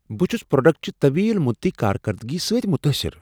بہٕ چھٗس پروڈکٹٕچہِ طویل مٗدتی کارکردگی سۭتۍ متٲثر۔